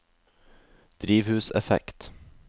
drivhuseffekt